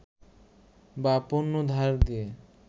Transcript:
বা পণ্য ধার দিয়ে